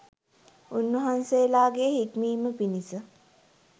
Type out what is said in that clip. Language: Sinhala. උන්වහන්සේලාගේ හික්මීම පිණිස